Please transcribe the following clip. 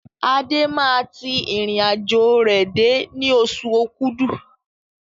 Adé máa tí irin àjò rẹ dé ní oṣù okúdù